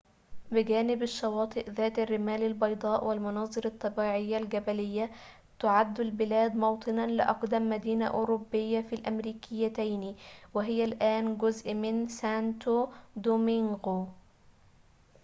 بجانب الشواطئ ذات الرمال البيضاء والمناظر الطبيعية الجبلية تعد البلاد موطنًا لأقدم مدينة أوروبية في الأمريكتين وهي الآن جزء من سانتو دومينغو